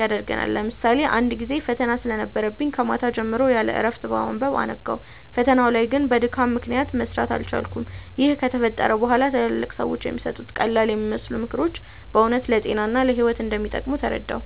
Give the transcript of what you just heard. ያደርገናል። ለምሳሌ አንድ ጊዜ ፈተና ስለነበረብኝ ከማታ ጀምሮ ያለእረፍት በማንበብ አነጋው። ፈተናው ላይ ግን በድካም ምክንያት መስራት አልቻልኩም። ይህ ከተፈጠረ በኋላ ትላልቅ ሰዎች የሚሰጡት ቀላልየሚመስሉ ምክሮች በእውነት ለጤና እና ለህይወት እንደሚጠቅሙ ተረዳሁ።